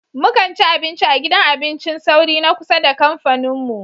Mu kan ci abinci a gidan abincin sauri na kusa da kamfanin mu.